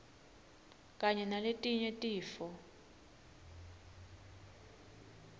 kanye naletinye tifo